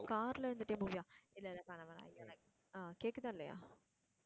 car ல இருந்துட்டே movie ஆ, இல்ல இல்ல வேணாம் வேணாம் ஆஹ் கேக்குதா இல்லையா?